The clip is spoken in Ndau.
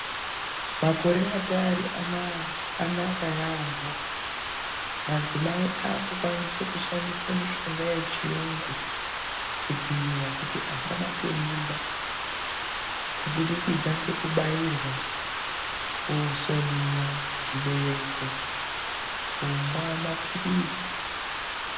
Makore ataari anaya aya naka yaampho, Madzimai ave kukwanisa kushandisa mitombo yeChiyungu kudziirira kuti asabate mimba kubudikidza kekubairwa , kusoniwa zvibereko, kumwa maphirizi.